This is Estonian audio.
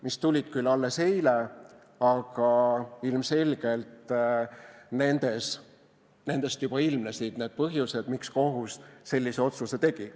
Need tulid küll alles eile, aga ilmselgelt nendest juba ilmnesid need põhjused, miks kohus sellise otsuse tegi.